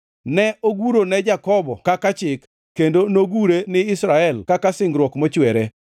Ne ogure ne Jakobo kaka chik, kendo nogure ni Israel kaka singruok mochwere: